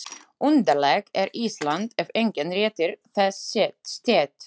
Undarlegt er Ísland, ef enginn réttir þess stétt.